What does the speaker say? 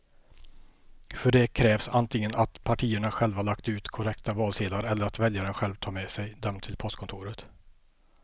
För det krävs antingen att partierna själva lagt ut korrekta valsedlar eller att väljaren själv tar med sig dem till postkontoret.